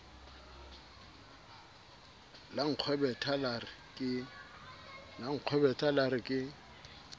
la nkgwebetha la re ke